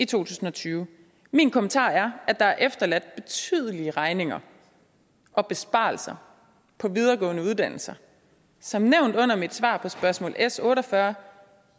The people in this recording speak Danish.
tusind og tyve min kommentar er at der er efterladt betydelige regninger og besparelser på videregående uddannelser som nævnt under mit svar på spørgsmål s otte og fyrre